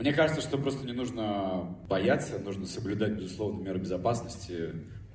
мне кажется что просто не нужно бояться нужно соблюдать безусловно меры безопасности